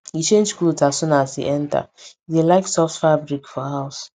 e change cloth as soon as e enter e dey like soft fabric for house